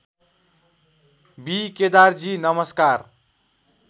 be केदारजी नमस्कार